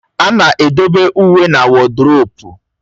A na-edobe uwe na woduropu